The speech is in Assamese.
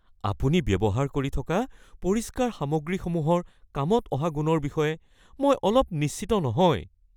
আপুনি ব্যৱহাৰ কৰি থকা পৰিষ্কাৰ কৰা সামগ্ৰীসমূহৰ কামত অহা গুণৰ বিষয়ে মই অলপ নিশ্চিত নহয়।